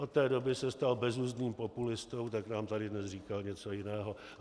Od té doby se stal bezuzdným populistou, tak nám tady dnes říkal něco jiného.